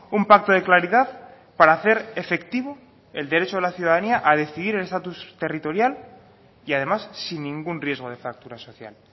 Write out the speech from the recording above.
un pacto de claridad para hacer efectivo el derecho a la ciudadanía a decidir el estatus territorial y además sin ningún riesgo de fractura social